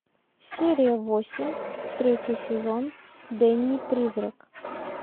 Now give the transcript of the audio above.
серия восемь третий сезон дэнни призрак